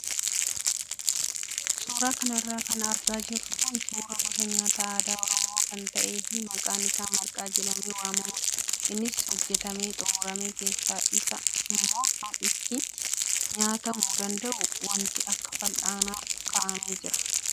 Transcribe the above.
Suuraa kanarra kan argaa jirru kun suuraa gosa nyaata aadaa oromoo kan ta'ee fi maqaan isaa marqaa jedhamee waamamuudha. Innis hojjatamee xumuramee keessa isaa immoo kan ittiin nyaatamuu danda'u wanti akka fal'aanaa kaa'amee jira.